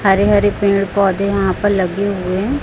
हरे -हरे पेड़ -पौधे यहाँ पर लगे हुए --